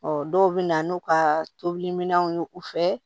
dɔw bɛ na n'u ka tobiliminɛnw ye u fɛ